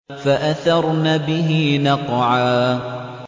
فَأَثَرْنَ بِهِ نَقْعًا